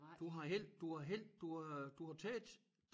Du har held du har held du har du har taget